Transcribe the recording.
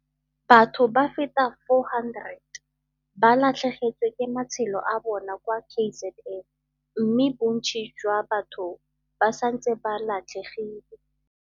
Batho ba feta 400 ba latlhegetswe ke matshelo a bona kwa KZN mme bontsi jwa batho ba santse ba latlhegile.